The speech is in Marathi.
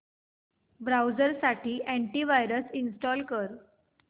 ब्राऊझर साठी अॅंटी वायरस इंस्टॉल कर